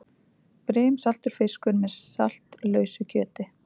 Brimsaltur fiskur með saltlausu kjöti.